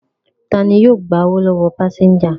Ta ni yóò gba owó lọ́wọ́ àwọn pásẹ́ńjà?